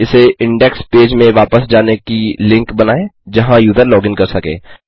इसे index page में वापस जाने की लिंक बनाएँ जहाँ यूजर लॉगिन कर सके